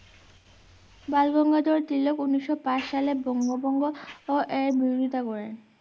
বালগঙ্গাধর তিলক উনিশশো পাঁচ সালে বঙ্গভঙ্গ এর বিরোধিতা করেন